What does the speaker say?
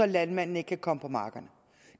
landmanden ikke kan komme på markerne